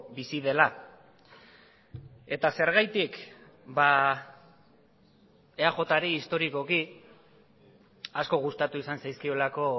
bizi dela eta zergatik eajri historikoki asko gustatu izan zaizkiolako